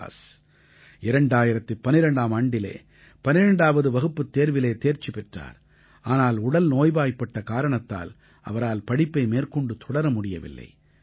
ஃபியாஸ் 2012ஆம் ஆண்டிலே 12ஆவது வகுப்புத் தேர்விலே தேர்ச்சி பெற்றார் ஆனால் உடல் நோய்வாய்ப்பட்ட காரணத்தால் அவரால் படிப்பை மேற்கொண்டு தொடர முடியவில்லை